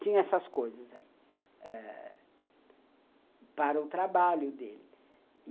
Tinha essas coisas aí ãh para o trabalho dele.